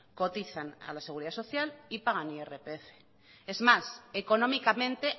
cotizan a la seguridad social y pagan irpf es más económicamente